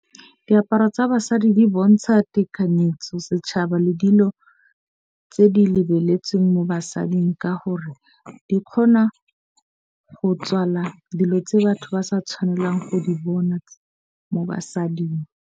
Diaparo tsa basadi di bontsha tekanyetso setšhaba le dilo tse di lebeletsweng mo basading, ka gore di kgona go tswala dilo tse batho ba sa tshwanelang go di bona mo basading.